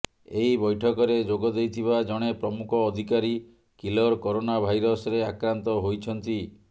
ଏହି ବୈଠକରେ ଯୋଗ ଦେଇଥିବା ଜଣେ ପ୍ରମୁଖ ଅଧିକାରୀ କିଲର କରୋନା ଭାଇରସରେ ଆକ୍ରାନ୍ତ ହୋଇଛନ୍ତି